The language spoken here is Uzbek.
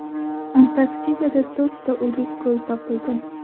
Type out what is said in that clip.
Antarktidada to‘rtta o‘lik ko‘l topildi.